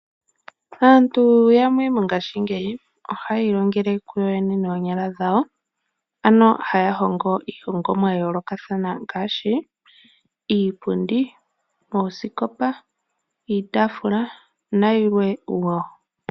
Aantu yamwe mongashingeyi, ohaya ilongele kuyo yene noonyala dhawo. Ano, haya hongo iihongomwa ya yoolokathana ngaashi iipundi, oosikopa, iitafula nayilwe woo.